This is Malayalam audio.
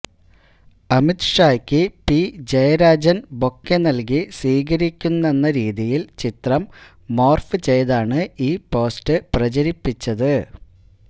അമിത് ഷായ്ക്ക് പി ജയരാജൻ ബൊക്കെ നൽകി സ്വീകരിക്കുന്നെന്ന രീതിയിൽ ചിത്രം മോർഫ് ചെയ്താണ് ഈ പോസ്റ്റ് പ്രചരിപ്പിച്ചത്